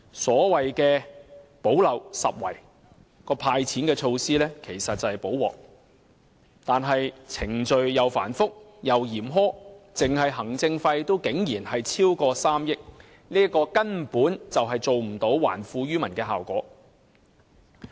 所謂"補漏拾遺"的"派錢"措施其實是"補鑊"，可是程序繁複又嚴苛，單是行政費也竟然超過3億元，根本做不到還富於民的效果。